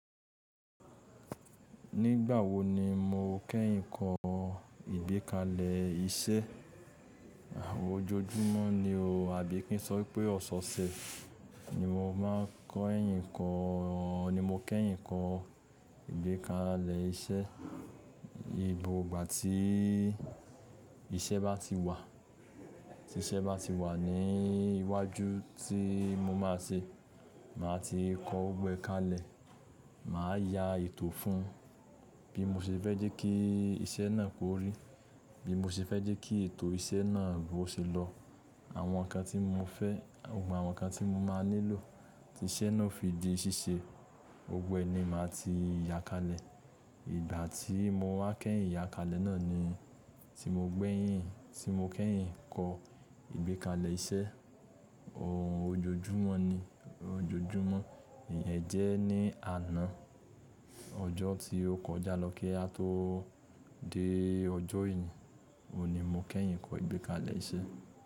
Nígbà wo ni mo kẹ́yìn ń kọ ìgbékalẹ̀ iṣẹ́? Ojoojúmọ́ ni o, àbí kí n sọ pé ọ̀sọ̀ọ̀sẹ̀ ni mo máa ń kẹ́yìn ń kọ ìgbékalẹ̀ iṣẹ́. Gbọgbà tí iṣẹ́ bá ti wà, tí iṣẹ́ bá ti wà ní iwájú tí mo máa ṣe, màá ti kọ gbogboe kalẹ̀, màá ya ètò fún bí mo ṣe fẹ́ jẹ́ kí iṣẹ́ náà kórí, bí mo ṣe fẹ́ jẹ́ kí ètò iṣẹ́ náà bó ṣe lọ, àwọn nǹkan tí mo fẹ́, àwọn nǹkan tí mo máa nílò tí iṣẹ́ náà fi di ṣíṣe, gbogbó ẹni màá ti ya kalẹ̀. Ìgbà tí mo wá kẹ́yìn ya kalẹ̀ náà ni tí mo gbẹ́yìn, tí mo kẹ́yìn ń kọ ìgbékalẹ̀ iṣẹ́. Ojoojúmọ́ ni, ojoojúmọ́. Ẹ jẹ́ ní àná, ọjọ́ tí ó kọjá lọ kí a tó dé ọjọ́ ení, òní mo kẹ́yìn ń kọ ìgbékalẹ̀ iṣẹ́.